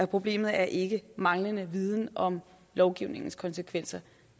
problemet er ikke manglende viden om lovgivningens konsekvenser